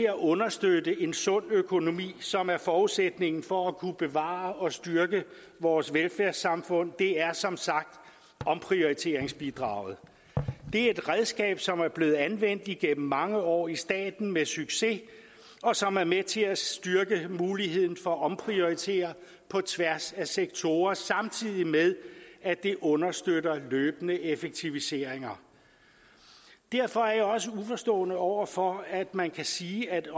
at understøtte en sund økonomi som er forudsætningen for at kunne bevare og styrke vores velfærdssamfund er som sagt omprioriteringsbidraget det er et redskab som er blevet anvendt igennem mange år i staten med succes og som er med til at styrke muligheden for at omprioritere på tværs af sektorer samtidig med at det understøtter løbende effektiviseringer derfor er jeg også uforstående over for at man kan sige at